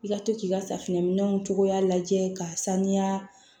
I ka to k'i ka safinɛminɛnw cogoya lajɛ ka sanuya